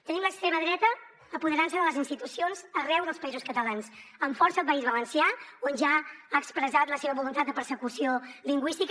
tenim l’extrema dreta apoderant se de les institucions arreu dels països catalans amb força al país valencià on ja ha expressat la seva voluntat de persecució lingüística